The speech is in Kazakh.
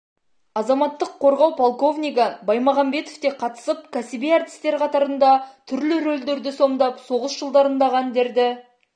азаматтық қорғау полковнигі баймағанбетов те қатысып кәсіби әртістер қатарында түрлі рөлдерді сомдап соғыс жылдарындағы әндерді